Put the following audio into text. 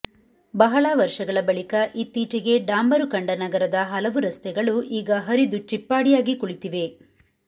ಬಹಳ ವರ್ಷಗಳ ಬಳಿಕ ಇತ್ತೀಚೆಗೆ ಡಾಂಬರು ಕಂಡ ನಗರದ ಹಲವು ರಸ್ತೆಗಳು ಈಗ ಹರಿದು ಚಿಪ್ಪಾಡಿಯಾಗಿ ಕುಳಿತಿವೆ